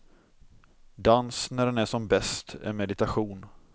Dans, när den är som bäst, är meditation.